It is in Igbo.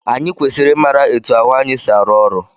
Anyị kwesịrị ị mara etu ahụ anyị si arụ ọrụ.